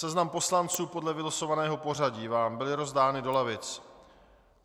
Seznam poslanců podle vylosovaného pořadí vám byl rozdán do lavic.